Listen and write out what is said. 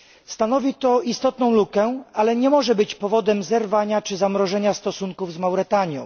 Stanowi to istotną lukę, ale nie może być powodem zerwania czy zamrożenia stosunków z Mauretanią.